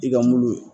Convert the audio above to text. I ka mulu